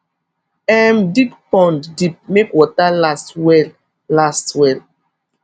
um dig pond deep make water last well last well